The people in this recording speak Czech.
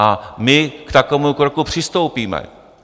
A my k takovému kroku přistoupíme.